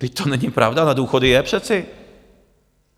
Vždyť to není pravda, na důchody je přece!